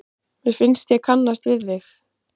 Mér finnst ég kannast við þig!